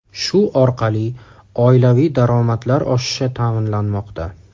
Shu orqali oilaviy daromadlar oshishi ta’minlanmoqda.